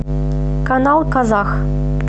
канал казах